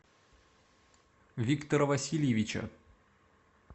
виктора васильевича